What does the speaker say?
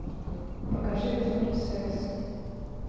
покажи безумный секс